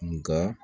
Nka